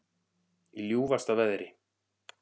Í ljúfasta veðri